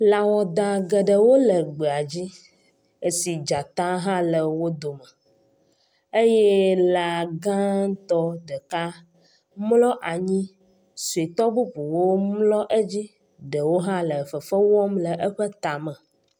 Lãwada geɖewo le gbea dzi esi dzata hã le wo dome eye lã gãtɔ ɖeka mlɔ anyi, sɔetɔ bubuwo mlɔ edzi, eɖewo hã le fefe wɔm le eƒe tame.